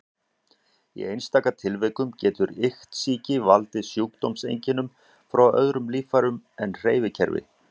Í einstaka tilvikum getur iktsýki valdið sjúkdómseinkennum frá öðrum líffærum en hreyfikerfi.